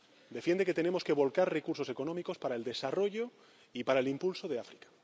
Defiende que tenemos que volcar recursos económicos para el desarrollo y para el impulso de África.